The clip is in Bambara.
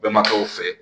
Bɛnbakɛw fɛ